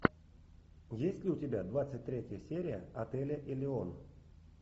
есть ли у тебя двадцать третья серия отеля элеон